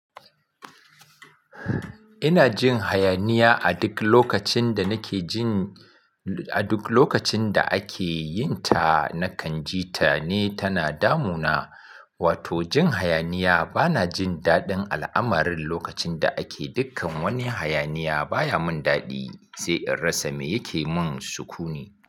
Ina jin hayaniya a duk lokacin da nake jin, a duk lokacin da ake yin ta, na kan ji ta ne tana damuna. Wato jin hayaniya bana jin daɗin al'amarin lokacin da ake dukkan wani hayaniya baya mun daɗi, sai in rasa me yake mun suku ne.